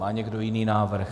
Má někdo jiný návrh?